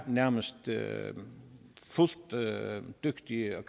nærmest er dygtige